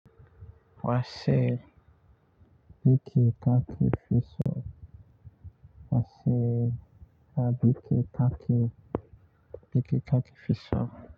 Wa ce biki ka ke fi so? Wa ce, a biki ka ke, biki ka ke fi so?